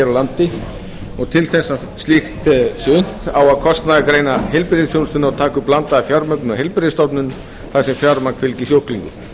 landi en að kostnaðargreina skuli heilbrigðisþjónustuna og taka upp blandaða fjármögnun á heilbrigðisstofnunum þar sem fjármagn fylgi sjúklingum